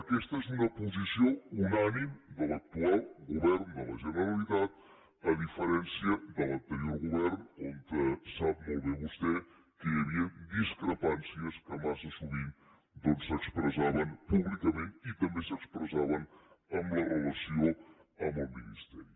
aquesta és una posició unànime de l’actual govern de la generalitat a diferència de l’anterior govern en què sap molt bé vostè que hi havia discrepàncies que massa sovint doncs s’expressaven públicament i també s’expressaven en la relació amb el ministeri